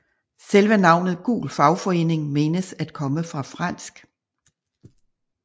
Selve navnet gul fagforening menes at komme fra fransk